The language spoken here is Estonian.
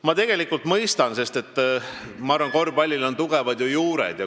Ma tegelikult mõistan teid, sest meie korvpallil on ju tugevad juured.